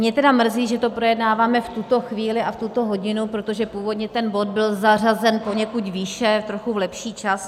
Mě tedy mrzí, že to projednáváme v tuto chvíli a v tuto hodinu, protože původně ten bod byl zařazen poněkud výše, trochu v lepší čas.